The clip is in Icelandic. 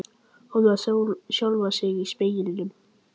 Horfir á sjálfan sig í speglinum.